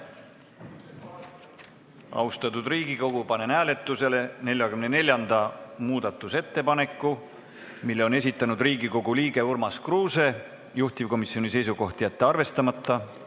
Austatud Riigikogu, panen hääletusele 44. muudatusettepaneku, mille on esitanud Riigikogu liige Urmas Kruuse, juhtivkomisjoni seisukoht: jätta see arvestamata.